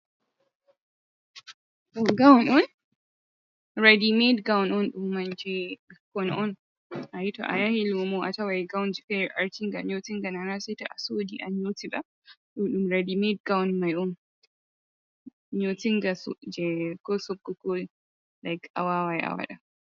Ɗum Gaun on. reaɗi meɗ goun on ɗum man je bikkoi on. Ahi to a yahi lumo a tawai gounje fere artinga nyotinga nana seta a suɗi a nyotiba. Ɗum raɗi meɗ goun mai on nytingaje ko sokukol laik awawai a waɗa.